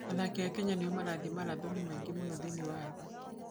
Athaki a Kenya nĩo marathiĩ maratathi maingĩ mũno thĩinĩ wa thĩ.